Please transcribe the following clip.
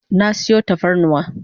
Na sayo tafarnuwa